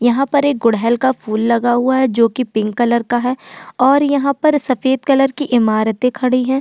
यहाँ पर एक गुड़हेल का फूल लगा हुआ है जोकि पिंक कलर का है और यहाँ पर सफेद कलर की इमारतें खड़ीं है।